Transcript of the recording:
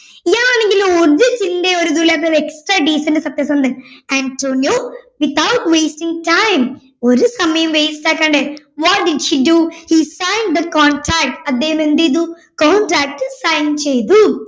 ഇയാളെങ്കിൽ ഒരു ചിന്തയോ ഒരു ഇതുമില്ലാതെ ഒരു extra decent സത്യസന്ധൻ അന്റോണിയോ without wasting time ഒരു സമയവും waste ആക്കാണ്ട് what did he do he sign the contract അദ്ദേഹം എന്ത് ചെയ്തു contract sign ചെയ്തു